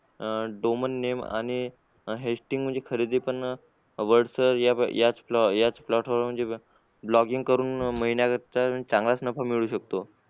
अह domain name आणि म्हणजे खरेदी पण blogging